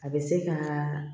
A bɛ se ka